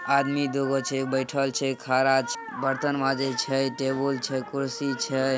आदमी दुगो छे बैठल छे खरा बर्तन मंजे छे टेबल छे कुर्सी छे।